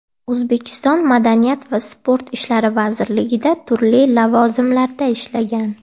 O‘zbekiston Madaniyat va sport ishlari vazirligida turli lavozimlarda ishlagan.